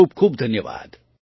ખૂબ ખૂબ ધન્યવાદ